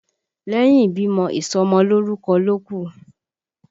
Lẹ́yìn ìbímọ, ìsọmọ lórúkọ ló kù